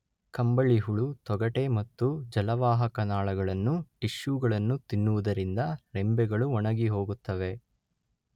ಕಂಬಳಿಹುಳು ತೊಗಟೆ ಮತ್ತು ಜಲವಾಹಕ ನಾಳಗಳನ್ನು ಟಿಷ್ಯೂಗಳನ್ನು ತಿನ್ನುವುದರಿಂದ ರೆಂಬೆಗಳು ಒಣಗಿಹೋಗುತ್ತವೆ.